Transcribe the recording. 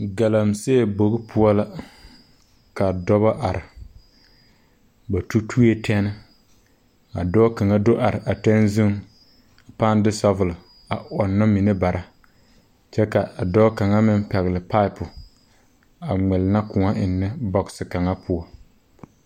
Galaŋsee bogi poɔ la ka dɔbɔ are ba tutuee tɛne ka dɔɔ kaŋa do are a tɛne zuŋ a pãã de sabɔl a ɔŋnɔ mine bara kyɛ ka a dɔɔ kaŋa meŋ pɛgle paapu a ngɛnnɛ kõɔ eŋnɛ bɔgse kaŋa poɔ.